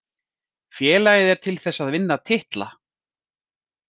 Félagið er til þess að vinna titla.